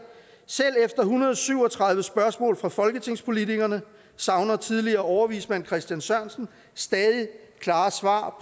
selv efter hundrede og syv og tredive spørgsmål fra folketingspolitikerne savner tidligere overvismand christen sørensen stadig klarere svar